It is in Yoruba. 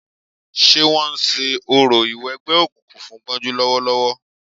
Ṣé wọ́n ń ṣe orò ìwẹgbẹ́ òkùnkùn fún Gbọ́njú lọ́wọ́lọ́wọ́